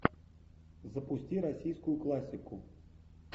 запусти российскую классику